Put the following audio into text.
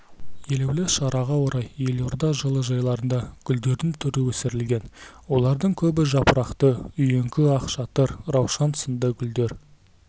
елеулі шараға орай елорда жылыжайларында гүлдердің түрі өсірілген олардың көбі жапырақты үйеңкі ақшатыр раушан сынды гүлдер